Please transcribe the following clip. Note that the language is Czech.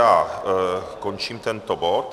Já končím tento bod.